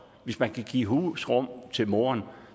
hvis man kan give husrum til moren